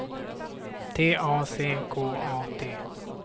T A C K A T